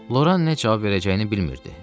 Loran nə cavab verəcəyini bilmirdi.